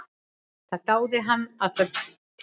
Það dáði hann alla tíð.